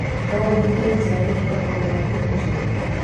No ũhũthĩre njĩra ĩngĩ ya kũgũra thimũ njerũ